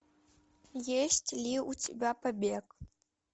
есть ли у тебя побег